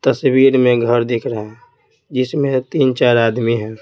तस्वीर में घर दिख रहा है जिसमें तीन-चार आदमी हैं।